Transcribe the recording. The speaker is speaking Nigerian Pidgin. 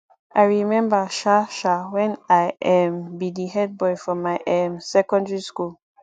i rememba um um wen i um be di head boy for my um secondary school